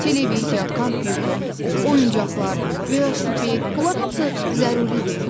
Televiziya, kompyuter, oyuncaqlar, velosiped, bunlar hamısı zəruridir?